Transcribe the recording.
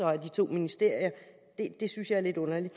af de to ministerier det synes jeg er lidt underligt